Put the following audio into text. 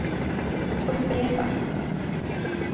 upprepa